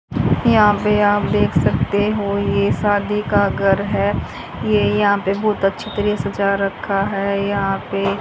यहां पे आप देख सकते हो ये शादी का गर है ये यहां पे बहोत अच्छा तरह सजा रखा है यहां पे--